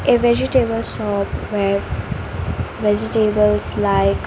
a vegetable shop where vegetables like --